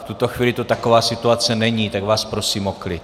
V tuto chvíli tu taková situace není, tak vás prosím o klid.